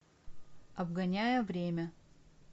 обгоняя время